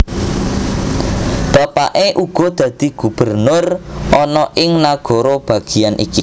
Bapake uga dadi gubernur ana ing nagara bagian iki